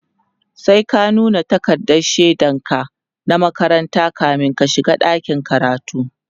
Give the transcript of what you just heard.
sai ka nuna takardan shaidan ka na makaranta kamin ka shiga dakin karatu